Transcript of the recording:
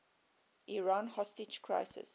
iran hostage crisis